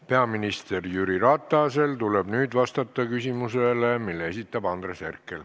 Peaminister Jüri Ratasel tuleb nüüd vastata küsimusele, mille esitab Andres Herkel.